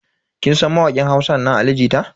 Kin san mawakin Hausa nan Ali jita?